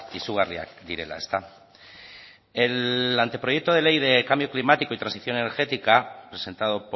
izugarriak direla el anteproyecto de ley de cambio climático y transición energética presentado